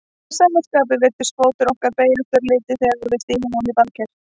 Að sama skapi virðist fótur okkar beygjast örlítið þegar við stígum ofan í baðker.